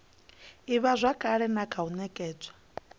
ivhazwakale na kha u nekedzwa